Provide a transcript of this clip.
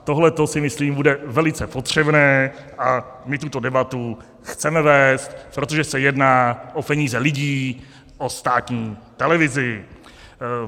Tohleto si myslím bude velice potřebné a my tuto debatu chceme vést, protože se jedná o peníze lidí, o státní televizi.